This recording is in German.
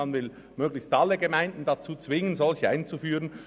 Man will möglichst alle Gemeinden dazu zwingen, Tagesschulen einzuführen.